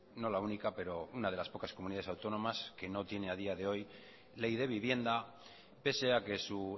no la única pero una de las pocas comunidades autónomas que no tiene a día de hoy ley de vivienda pese a que su